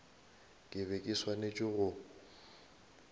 ke be ke swanetše go